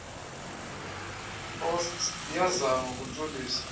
osts iyazama ukuntshulisa